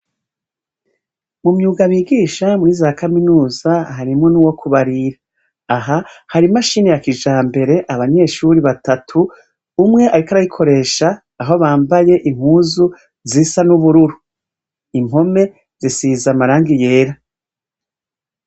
Mu myuga bigisha muri za kaminuza, harimwo n’uwo kubarira. Aha hari imashine ya kijambere abanyeshure batatu, umwe ariko arayikoresha, aho bambaye impuzu zisa n’ubururu. Impome zisize amarangi y’era.